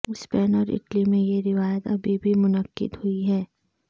Spain اور Italy میں یہ روایت ابھی بھی منعقد ہوئی ہے